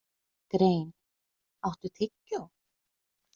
Grein, áttu tyggjó?